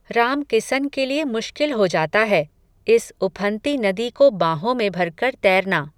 राम किसन के लिये मुश्किल हो जाता है, इस, उफन्ती नदी को बांहों में भर कर तैरना